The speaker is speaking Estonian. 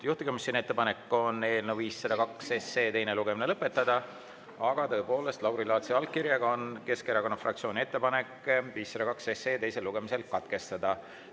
Juhtivkomisjoni ettepanek on eelnõu 502 teine lugemine lõpetada, aga tõepoolest, Lauri Laatsi allkirjaga on Keskerakonna fraktsiooni ettepanek eelnõu 502 teine lugemine katkestada.